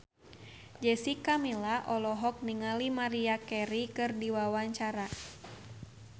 Jessica Milla olohok ningali Maria Carey keur diwawancara